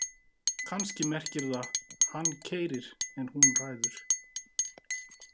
Kannski merkir það: hann keyrir en hún ræður.